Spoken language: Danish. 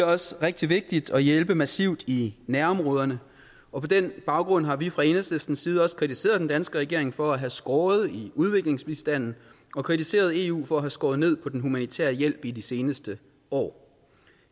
også rigtig vigtigt at hjælpe massivt i nærområderne og på den baggrund har vi fra enhedslistens side også kritiseret den danske regering for at have skåret i udviklingsbistanden og kritiseret eu for at have skåret ned på den humanitære hjælp i de seneste år